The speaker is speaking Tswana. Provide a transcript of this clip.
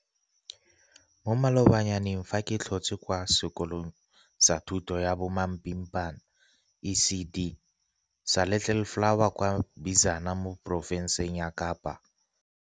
Mo malobanyaneng fa ke tlhotse kwa sekolong sa thuto ya bomapimpana, ECD, sa Little Flower kwa Bizana mo porofenseng ya Kapa